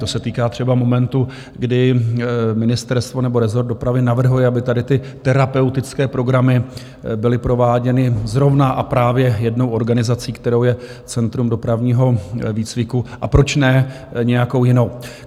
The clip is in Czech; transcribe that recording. To se týká třeba momentu, kdy ministerstvo nebo rezort dopravy navrhuje, aby tady ty terapeutické programy byly prováděny zrovna a právě jednou organizací, kterou je Centrum dopravního výcviku, a proč ne nějakou jinou.